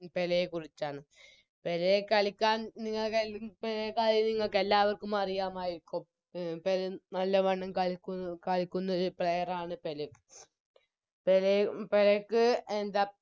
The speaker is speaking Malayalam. പേലെക്കുറിച്ചാണ് പെലെ കളിക്കാൻ നിങ്ങക്ക് നി കൊറേക്കര്യം നിങ്ങൾക്കെല്ലാവർക്കും അറിയാമായിരിക്കും നല്ലവണ്ണം കളിക്കു കളിക്കുന്ന ഒരു Player ആണ് പെലെ പെലെ പെലെക്ക് എന്താ